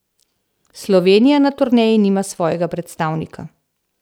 Slovenija na turneji nima svojega predstavnika.